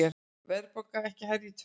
Verðbólga ekki hærri í tvö ár